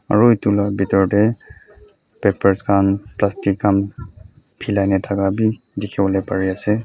aro etu la bitor dae papers khan plastic khan pilai na taka bi dikipolae pari asae.